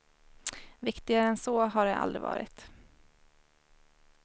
Viktigare än så har det aldrig varit.